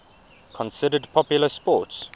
considered popular sports